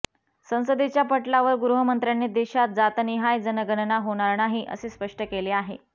संसदेच्या पटलावर गृहमंत्र्यांनी देशात जातनिहाय जनगणना होणार नाही असे स्पष्ट केले आहे